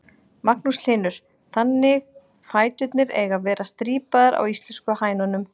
Magnús Hlynur: Þannig fæturnir eiga að vera strípaðar á íslensku hænunum?